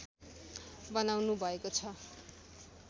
बनाउनु भएको छ